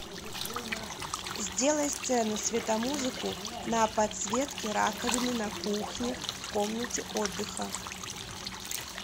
сделай сцену светомузыку на подсветке раковины на кухне в комнате отдыха